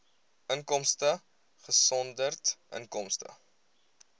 inkomste uitgesonderd inkomste